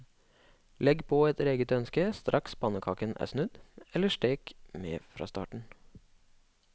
Legg på etter eget ønske straks pannekaken er snudd, eller stek med fra starten.